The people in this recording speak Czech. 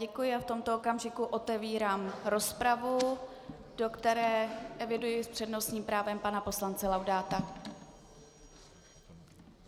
Děkuji a v tomto okamžiku otevírám rozpravu, do které eviduji s přednostním právem pana poslance Laudáta.